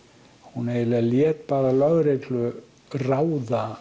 hún lét bara lögreglu ráða